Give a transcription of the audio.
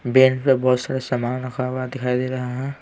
Bench पर बहुत सारे सामान रखा हुआ दिखाई दे रहा है।